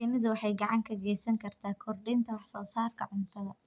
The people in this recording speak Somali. Shinnidu waxay gacan ka geysan kartaa kordhinta wax soo saarka cuntada.